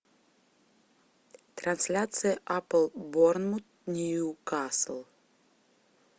трансляция апл борнмут ньюкасл